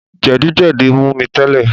Jẹ̀díjẹdí mú mi tẹ́lẹ̀